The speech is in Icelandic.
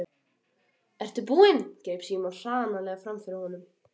Ertu búinn? greip Símon hranalega fram í fyrir honum.